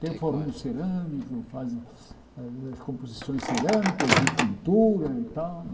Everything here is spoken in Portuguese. Tem o fornil cerâmico, faz aí as composições cerâmicas de pintura e tal